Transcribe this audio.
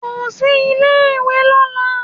Kò sí ilé ìwé lọ́la.